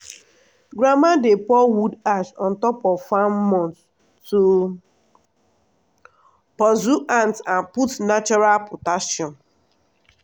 grandma dey pour wood ash on top of farm mounds to pursue ant and put natural potassium.